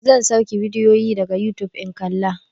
Zan sauke bidiyo daga yutub in kalla.